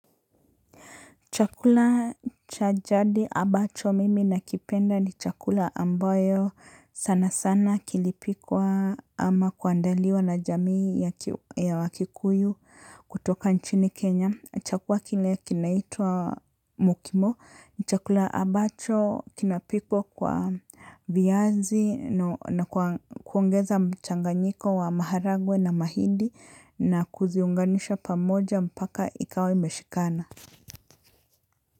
Chakula cha jadi ambacho mimi nakipenda ni chakula ambayo sana sana kilipikwa ama kuandaliwa na jamii ya wakikuyu kutoka nchini Kenya. Chakula kile kinaitwa mokimo ni chakula ambacho kinapikwa kwa viazi na kuongeza mchanganyiko wa maharagwe na mahindi na kuziunganisha pamoja mpaka ikawa imeshikana.